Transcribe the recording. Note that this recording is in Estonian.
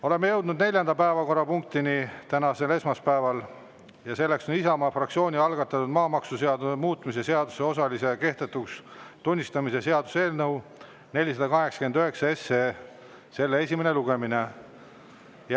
Oleme jõudnud neljanda päevakorrapunktini tänasel esmaspäeval ja see on Isamaa fraktsiooni algatatud maamaksuseaduse muutmise seaduse osalise kehtetuks tunnistamise seaduse eelnõu 489 esimene lugemine.